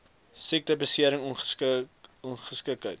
siekte besering ongeskiktheid